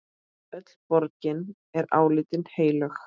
Öll borgin er álitin heilög.